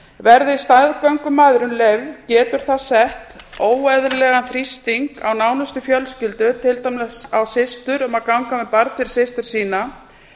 verði staðgöngumæðrun leyfð getur það sett óeðlilegan þrýsting á nánustu fjölskyldur til dæmis á systur um að ganga með barn fyrir systur sína